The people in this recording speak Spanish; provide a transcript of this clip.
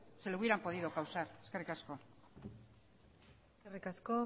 se le hubieran podido causar eskerrik asko eskerrik asko